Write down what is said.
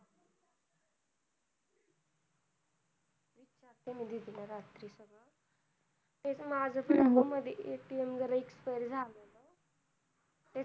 विचारते मी दीदी ला रात्री तेच माझ पण मधी ATM जरा expire झालेलं